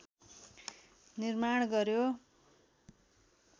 निर्माण गर्‍यो